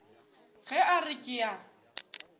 ge a re ke a